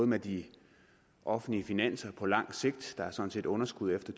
med de offentlige finanser på lang sigt der er sådan set underskud efter